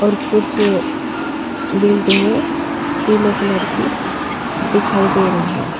कुछ बिल्डिंगे पीले कलर की दिखाई दे रही है।